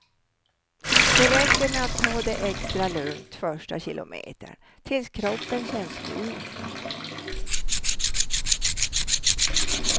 Det räcker med att ta det extra lugnt första kilometern, tills kroppen känns mjuk.